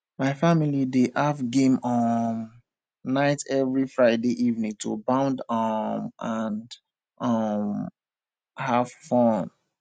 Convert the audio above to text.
my family dey have game um night every friday evening to bond um and um have fun